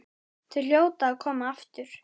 Þau hljóta að koma aftur.